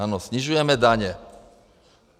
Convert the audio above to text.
Ano, snižujeme daně.